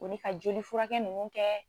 O ni ka jolifurakɛ ninnu kɛ